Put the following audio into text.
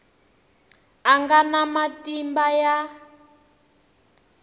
a nga na matimba ya